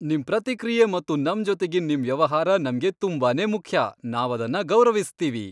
ನಿಮ್ ಪ್ರತಿಕ್ರಿಯೆ ಮತ್ತು ನಮ್ಜೊತೆಗಿನ್ ನಿಮ್ ವ್ಯವಹಾರ ನಮ್ಗೆ ತುಂಬಾನೇ ಮುಖ್ಯ, ನಾವದನ್ನ ಗೌರವಿಸ್ತೀವಿ.